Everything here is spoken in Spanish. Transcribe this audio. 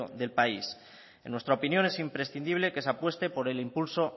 de país en nuestra opinión es imprescindible que se apueste por el impulso